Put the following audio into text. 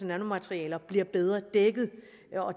nanomaterialer bliver bedre dækket